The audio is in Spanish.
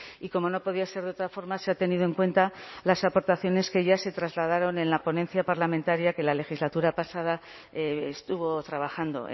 y como no podía ser de otra forma se ha tenido en cuenta las aportaciones que ya se trasladaron en la ponencia parlamentaria que la legislatura pasada estuvo trabajando